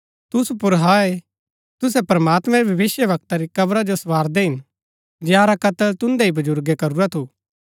तुसु पुर हाय तुसै प्रमात्मैं रै भविष्‍यवक्ता री कब्रा जो सँवारदै हिन जंयारा कत्‍ल तुन्दै ही बजुर्गे करुरा थू